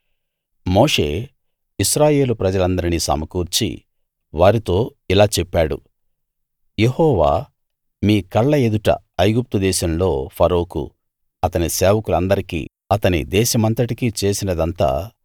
మోషే ఇశ్రాయేలు ప్రజలందరినీ సమకూర్చి వారితో ఇలా చెప్పాడు యెహోవా మీ కళ్ళ ఎదుట ఐగుప్తు దేశంలో ఫరోకు అతని సేవకులందరికీ అతని దేశమంతటికీ చేసినదంతా